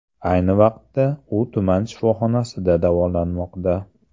Ayni vaqtda u tuman shifoxonasida davolanmoqda.